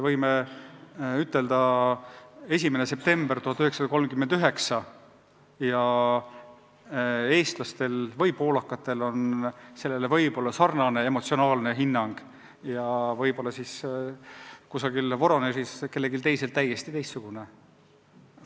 Näiteks 1. september 1939 – eestlastel ja, ütleme, poolakatel on sellesse võib-olla sarnane emotsionaalne suhtumine, kellelgi kusagil Voronežis aga täiesti teistsugune.